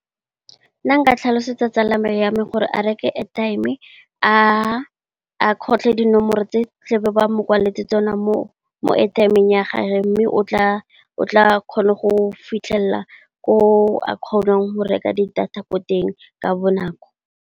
Nna ka tlhalosetsa tsala ya me gore a reke airtime, a kgotlhe dinomoro tse tla be ba mo kwaletse tsone mo airtime ya gage mme, o tla kgona go fitlhelela ko a kgonang go reka di data ko teng ka bonako.